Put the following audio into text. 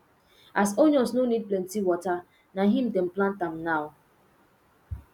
as onions no need plenty water na him dem plant am now